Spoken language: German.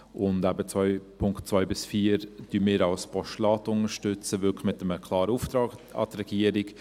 Und eben, die Punkte 2 bis 4 unterstützen wir als Postulat, wirklich mit einem klaren Auftrag an die Regierung.